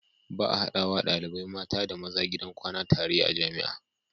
Ba a hadawa ɗalibai mata da maza gidan kwana tare a jamia